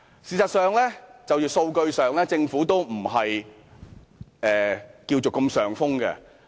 事實上，政府在數據上並非如此佔上風。